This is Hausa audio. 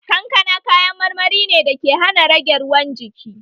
Kankana kayan marmari ne dake hana rage ruwan jiki